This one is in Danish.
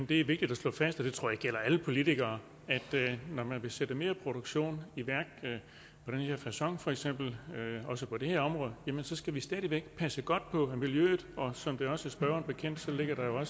det er vigtigt at slå fast og det tror jeg gælder alle politikere at når man vil sætte mere produktion i værk på den her facon for eksempel også på det her område så skal vi stadig væk passe godt på miljøet som det også er spørgeren bekendt ligger der jo